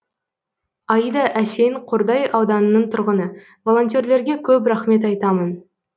аида әсен қордай ауданының тұрғыны волонтерлерге көп рахмет айтамын